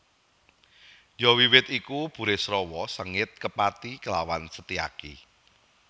Ya wiwit iku Burisrawa sengit kepati klawan Setyaki